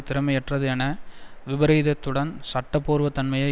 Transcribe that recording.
திறமையற்றது என விபரித்ததுடன் சட்டபூர்வதன்மையை